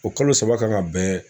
O kalo saba kan ka bɛn